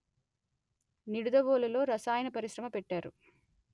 నిడదవోలు లో రసాయన పరిశ్రమ పెట్టారు